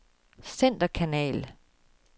centerkanal